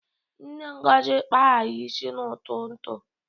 Nne Ngozi kpara ya isi n'ụtụtụ.